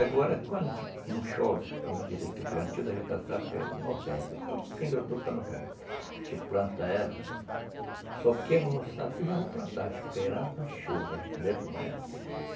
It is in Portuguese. Agora, quando a gente não chove, vamos dizer que o plantio da, novembro, fim de outubro para novembro, a gente planta ela, só queima o roçado e já vou plantar, esperando a chuva, entendeu como é?